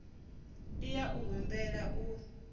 i ya u humbela u